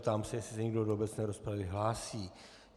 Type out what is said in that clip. Ptám se, jestli se někdo do obecné rozpravy hlásí.